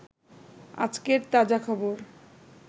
আজকের তাজা খবর